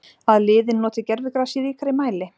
Að liðin noti gervigras í ríkari mæli?